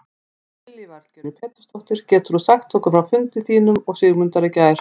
Lillý Valgerður Pétursdóttir: Getur þú sagt okkur frá fundi þínum og Sigmundar í gær?